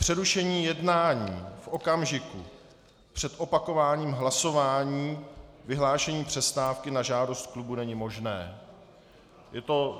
Přerušení jednání v okamžiku před opakováním hlasování, vyhlášení přestávky na žádost klubu není možné."